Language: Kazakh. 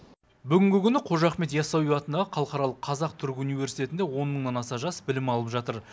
бүгінгі күні қожа ахмет ясауи атындағы халықаралық қазақ түрік университетінде он мыңнан аса жас білім алып жатыр